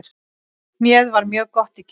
Hnéð var mjög gott í gær.